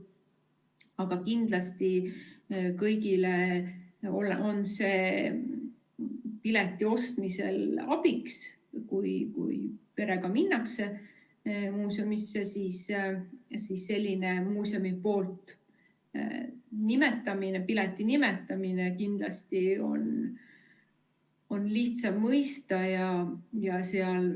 Aga kindlasti on see kõigile pileti ostmisel abiks, kui perega minnakse muuseumisse ja sellist pileti nimetamist on kindlasti lihtsam mõista.